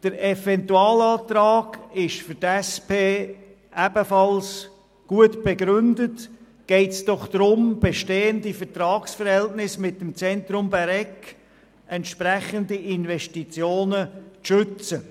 Der Eventualantrag ist für die SP ebenfalls gut begründet, geht es doch darum, bestehende Vertragsverhältnisse mit dem Zentrum Bäregg und entsprechende Investitionen zu schützen.